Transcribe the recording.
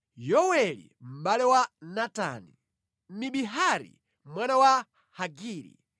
Yoweli mʼbale wa Natani, Mibihari mwana wa Hagiri,